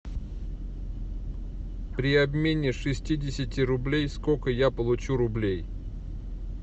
при обмене шестидесяти рублей сколько я получу рублей